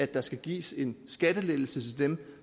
der skal gives en skattelettelse til dem